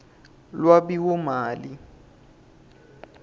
lwabiwomali